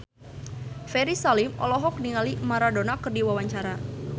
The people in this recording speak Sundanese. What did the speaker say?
Ferry Salim olohok ningali Maradona keur diwawancara